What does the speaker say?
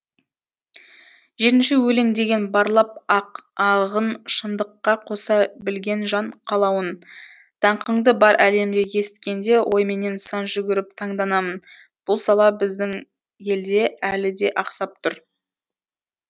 жетінші өлең деген барлап ағын шындыққа қоса білген жан қалауын даңқыңды бар әлемде есіткенде ойменен сан жүгіріп таңданамын бұл сала біздің елде әлі де ақсап тұр